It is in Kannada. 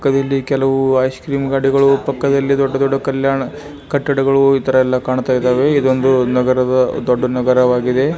ಪಕ್ಕದಲ್ಲಿ ಕೆಲವು ಐಸ್ ಕ್ರೀಮ್ ಗಾಡಿಗಳು ಪಕ್ಕದಲ್ಲಿ ದೊಡ್ಡದೊಡ್ಡ ಕಲ್ಯಾಣ ಕಟ್ಟಡಗಳು ಈತರ ಎಲ್ಲಾ ಕಾಣ್ತಾ ಇದಾವೆ ಇದೊಂದು ನಗರದ ದೊಡ್ಡ ನಗರವಾಗಿದೆ.